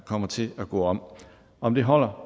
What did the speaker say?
kommer til at gå om om det holder